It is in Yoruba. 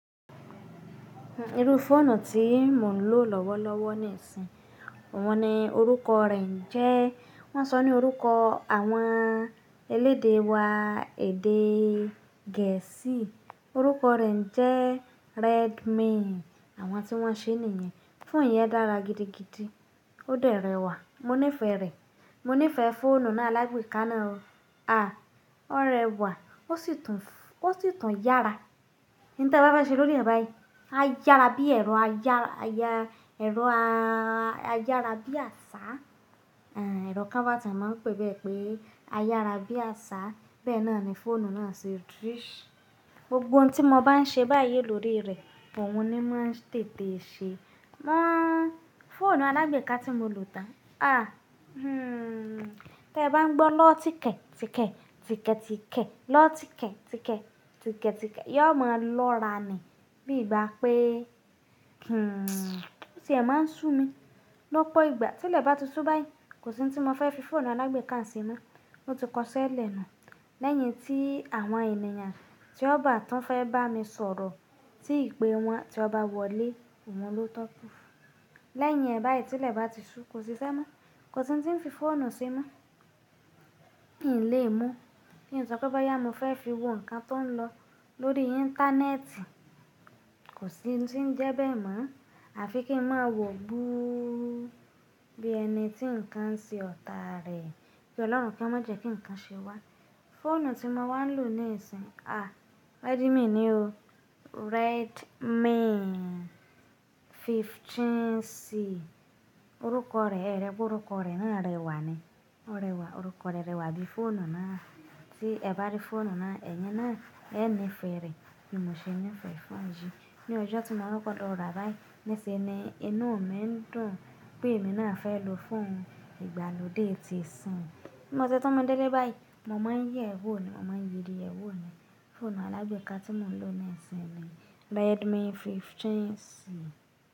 Iru fóònù tí mò ń lò lọ́wọ́lọ́wọ́ nísìn, òun ni orúkọ rẹ̀ jẹ́, wọ́n sọ ní orúkọ àwọn elédè wa èdè Gẹ̀ẹ́sì, orúkọ rẹ̀ jẹ́ Redmi. Àwọn tí wọ́n ṣe nìyen, fóònù yẹn dára gidi gidi, ó de rẹwà, mo nífẹ̀ẹ́ rẹ̀, mo nífẹ̀ẹ́ fóònù náà alágbèéká náà o. Àá, ó rẹwà, ó sì tún, ó sì tún yára. Níta bá fẹ ṣe lórí ẹ̀ báyìí, á yára bí ẹ̀rọ a yára, a yá ra, ẹ̀rọ á yára bí àṣá, àá, ẹ̀rọ camera tí wọ́n máa ń pè bẹ́ẹ̀ pé á yára bí àṣá, bẹ́ẹ̀ náà ni fóònù náà ṣe drí. Gbogbo ohun tí mo bá ń ṣe báyìí lórí rẹ̀, òun ni máa ń tètè ṣe. Wọn fóònù alágbééká tí mo lò tán, áá, hmm, tí ẹ bá ń gbọ́ lọ́ tíkẹ̀ tíkẹ̀ tíkẹ̀ tíkẹ̀ lọ́ tíkẹ̀ tíkẹ̀ tíkẹ̀ tíkẹ̀, é máa lọ́ra ni, bí i bá pé, hmm, bó tí ẹ̀ máa ń sún mi lọ́pó ìgbà. Tílẹ̀ bá ti sú báyìí, kò sí ohun tí mo fẹ́ fi Fóònù alágbèéká sẹ́mọ, ó ti kọ́ṣẹ́ lẹ̀nu. Lẹ́yìn tí àwọn ènìyàn tí ó bá tan fẹ́ bá mi sọ̀rọ̀ tí ìpé wọn tí ó bá wọlé, òun lọ̀túnkú Lẹ́yìn ẹ̀ báyìí tí ilẹ̀ bá ti sú, kò sí iṣẹ́ mọ́, kò sí ohun tí ń fi fóònù semo. N lè mọ́. Kí ń sọ pé bọ́yá mo fẹ́ fi wo nǹkan tó ń lọ lórí íńtánẹ́ẹ̀tì, kò sí n tí ń jẹ́ bẹ́ẹ̀ mọ́. Àfi kí n máa wọ̀ búú bí ẹni tí nǹkan ń ṣe ọ̀tà rẹ̀. Kí Ọlọ́run ko má jẹ́ kí nǹkan ṣe wá. Fóònù tí mo wá ń lò nísìn, áá, Redmi ni ó. Redmi 15C. Orúkọ rẹ̀, ẹ̀rẹ̀ pe ọrúkọ rẹ̀ náà rẹwà ni. Ó rẹwà, orúkọ rẹ̀ rẹwà bí fóònù náà. Tí ẹ bá rí fóònù náà, ẹni náà ẹ nífẹ̀ẹ́ rẹ̀, kì í mọ ṣe nífẹ̀ẹ́ fóònù yí. Ní ọjọ́ tí mo kọkọ lọrá bá yìí, nísin ni inú mi ń dùn pé èmi náà fẹ́ lò fóònù ìgbàlódé ti sin. Bí mo sé tún mú délé báyìí, mo máa ń yé wo ni, mo máa ń yiri ẹ wo ni. Fóònù alágbééká tí mo lò nísìn ni Redmi 15C.